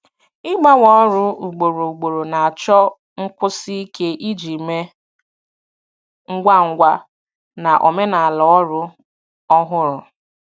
Ịgbanwe ọrụ ugboro ugboro na-achọ nkwụsi ike iji mee ngwa ngwa na omenala ọrụ ọhụrụ.